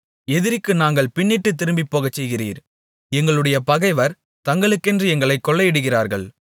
எதிரிக்கு நாங்கள் பின்னிட்டுத் திரும்பிப்போகச்செய்கிறீர் எங்களுடைய பகைவர் தங்களுக்கென்று எங்களைக் கொள்ளையிடுகிறார்கள்